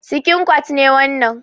Sikin kwat ne wannan.